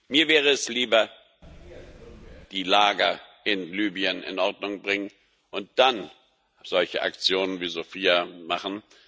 Mir wäre es lieber, erst die Lager in Libyen in Ordnung zu bringen und dann solche Aktionen wie Sophia zu machen...